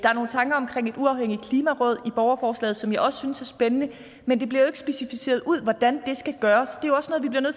uafhængigt klimaråd i borgerforslaget som jeg også synes er spændende men det bliver jo ikke specificeret hvordan det skal gøres